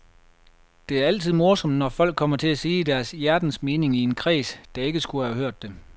Det er altid morsomt, når folk kommer til at sige deres hjertens mening i en kreds, der ikke skulle have hørt det.